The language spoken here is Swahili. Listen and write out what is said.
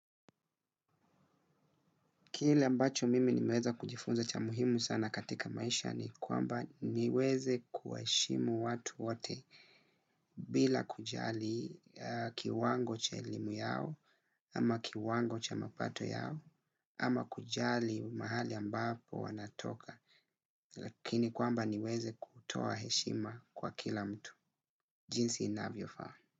Kile ambacho mimi ni nimeweza kujifunza cha muhimu sana katika maisha ni kwamba niweze kuheshimu watu wote bila kujali kiwango cha elimu yao ama kiwango cha mapato yao ama kujali mahali ambapo wanatoka. Lakini kwamba niweze kutoa heshima kwa kila mtu. Jinsi inavyo faa.